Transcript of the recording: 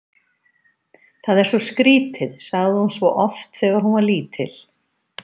Það er svo skrítið, sagði hún svo oft þegar hún var lítil.